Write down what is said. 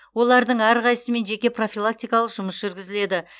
олардың әрқайсысымен жеке профилактикалық жұмыс жүргізіледі